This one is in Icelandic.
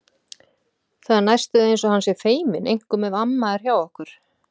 Það er næstum því eins og hann sé feiminn, einkum ef amma er hjá okkur.